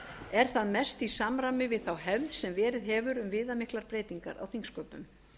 er það mest í samræmi við þá hefð sem verið hefur um viðamiklar breytingar á þingsköpum